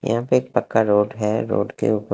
यहाँ पे एक पक्का रोड है रोड के--